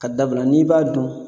K'a dabira n'i b'a dun